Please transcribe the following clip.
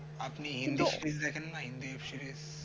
আপনি Hindi web series দেখেন না হিন্দি web series